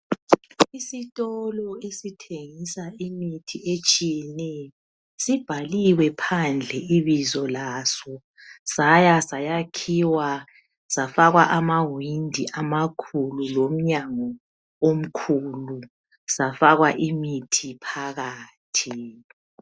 Isitolo esithengisa imithi etshiyeneyo sibhaliwe phandle ibizo laso saya sakhiwa safakwa amawindi amakhulu lomnyango omkhulu safakwa imithi phakathi.